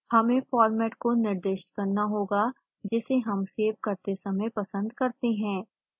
हमें फॉर्मेट को निर्दिष्ट करना होगा जिसे हम सेव करते समय पसंद करते हैं